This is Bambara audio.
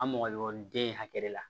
An mɔgɔ ɲɔgɔnden hakɛ de la